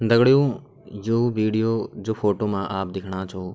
दगड़ियों जो विडियो जो फोटो मा आप दिखणा छों --